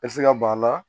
E bɛ se ka ban a la